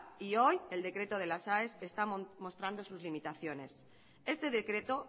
y hoy el decreto de las aes está mostrando sus limitaciones este decreto